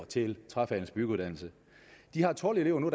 til træfagenes byggeuddannelse de har tolv elever nu